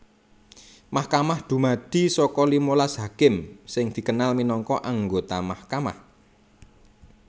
Mahkamah dumadi saka limalas hakim sing dikenal minangka anggota mahkamah